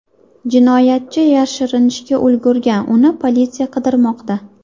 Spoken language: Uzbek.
Jinoyatchi yashirinishga ulgurgan, uni politsiya qidirmoqda.